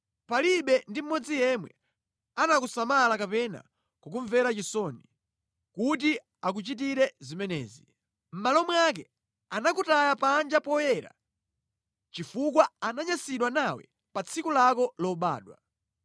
Palibe ndi mmodzi yemwe anakusamala kapena kukumvera chisoni kuti akuchitire zimenezi. Mʼmalo mwake anakutaya panja poyera, chifukwa ananyansidwa nawe pa tsiku lako lobadwa.